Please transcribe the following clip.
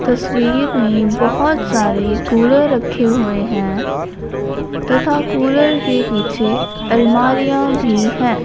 तस्वीर में बोहोत सारे कूलर रखे हुए हैं तथा कूलर के पीछे अलमारियां भी है।